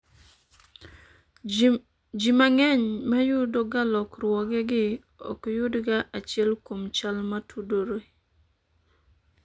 Jii mang'eny ma yudo ga lokruogegi ok yudga achiel kuom chal motudore